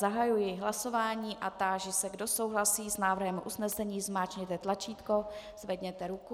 Zahajuji hlasování a táži se, kdo souhlasí s návrhem usnesení, zmáčkněte tlačítko, zvedněte ruku.